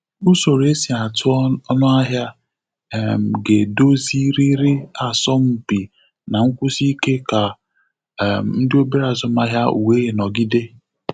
Usoro e si atụ ọnụahịa um ga-edozịrịrị asọmpi na nkwusi ike ka um ndị obere azụmahịa wee nọgịde.